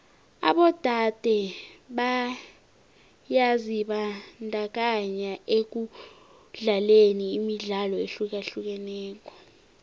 abodade byazibandakanya ekudlaleni imidlalo ehlukahlukeneko